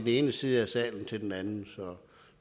ene side af salen til den anden